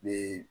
Ni